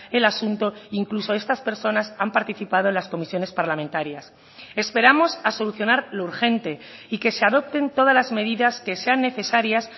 el asunto incluso estas personas han participado en las comisiones parlamentarias esperamos a solucionar lo urgente y que se adopten todas las medidas que sean necesarias